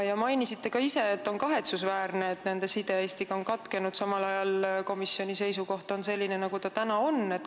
Te mainisite ka ise, et on kahetsusväärne, et nende side Eestiga on katkenud, samal ajal kui komisjoni seisukoht on selline, nagu ta on.